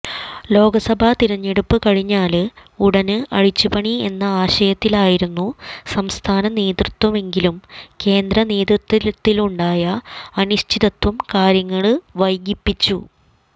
ലോക്സഭാതിരഞ്ഞെടുപ്പു കഴിഞ്ഞാല് ഉടന് അഴിച്ചുപണി എന്ന ആശയത്തിലായിരുന്നു സംസ്ഥാനനേതൃത്വമെങ്കിലും കേന്ദ്രനേതൃത്വത്തിലുണ്ടായ അനിശ്ചിതത്വം കാര്യങ്ങള് വൈകിപ്പിച്ചു